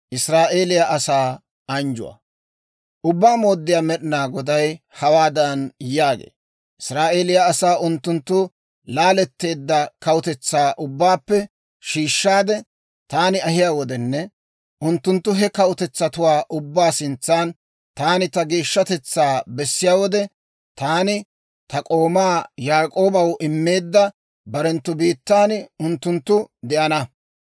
Ubbaa Mooddiyaa Med'inaa Goday hawaadan yaagee; «Israa'eeliyaa asaa unttunttu laaletteedda kawutetsaa ubbaappe shiishshaade, taani ahiyaa wodenne unttunttu he kawutetsatuwaa ubbaa sintsan taani ta geeshshatetsaa bessiyaa wode, taani ta k'oomaa Yaak'oobaw immeedda barenttu biittan unttunttu de'ana.